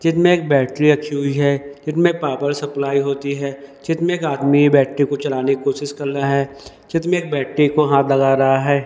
चित में बैटरी रखी हुई है चित में पावर सप्लाई होती है चित में आदमी बैठे को चलाने की कोशिश कर रहा है चित में बैटरी को हाथ लगा रहा है।